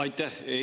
Aitäh!